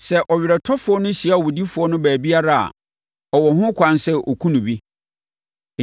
Sɛ ɔweretɔfoɔ no hyia owudifoɔ no baabiara a, ɔwɔ ho kwan sɛ ɔkum no bi.